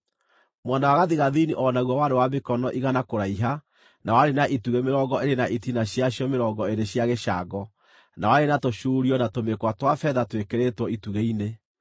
Mwena wa gathigathini o naguo warĩ wa mĩkono igana kũraiha, na warĩ na itugĩ mĩrongo ĩĩrĩ na itina ciacio mĩrongo ĩĩrĩ cia gĩcango, na warĩ na tũcuurio na tũmĩkwa twa betha twĩkĩrĩtwo itugĩ-inĩ.